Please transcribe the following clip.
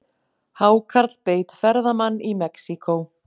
Hákarl beit ferðamann í Mexíkó